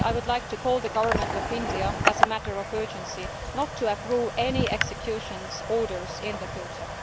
Finally, I would like to call on the Government of India, as a matter of urgency, not to approve any execution orders in the future.